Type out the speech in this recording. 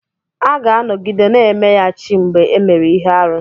A ga-anọgide na-emeya chi mgbe e mere ihe arụ.